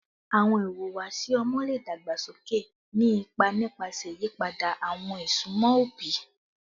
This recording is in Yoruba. Awọn ihuwasi ọmọ le dagbasoke, ni ipa nipasẹ iyipada awọn isunmọ obi